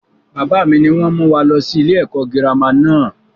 Bàbá mi ni wọn mú wá lọ sí ilé ẹ̀kọ́ girama náà.